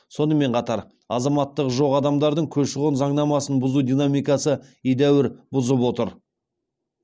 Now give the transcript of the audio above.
сонымен қатар азаматтығы жоқ адамдардың көші қон заңнамасын бұзу динамикасы едәуір бұзып отыр